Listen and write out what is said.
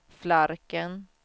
Flarken